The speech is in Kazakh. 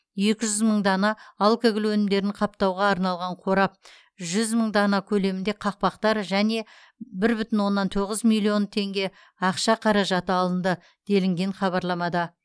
екі жүз мың дана алкоголь өнімдерін қаптауға арналған қорап жүз мың дана көлемінде қақпақтар және бір бүтін оннан тоғыз миллион теңге ақша қаражаты алынды делінген хабарламада